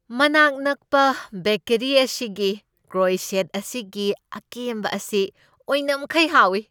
ꯃꯅꯥꯛ ꯅꯛꯄ ꯕꯦꯀꯦꯔꯤ ꯑꯁꯤꯒꯤ ꯀ꯭ꯔꯣꯏꯁꯦꯟꯠ ꯑꯁꯤꯒꯤ ꯑꯀꯦꯝꯕ ꯑꯁꯤ ꯑꯣꯏꯅꯝꯈꯩ ꯍꯥꯎꯏ ꯫